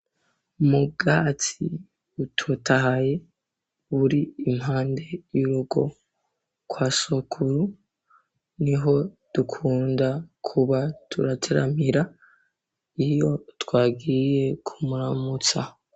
Mubwatsi butotaye buri impande y'urogo kwa Sokuru, niho dukunda kuba turateramira iyo twagiye kumuramutsa.